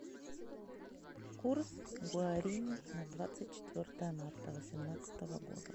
курс гуарани на двадцать четвертое марта восемнадцатого года